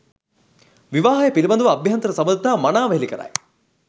විවාහය පිළිබඳව අභ්‍යන්තර සබඳතා මනාව හෙළිකරයි.